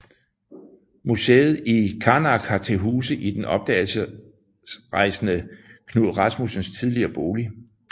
Museet i Qaanaaq har til huse i den opdagelsesrejsende Knud Rasmussens tidligere bolig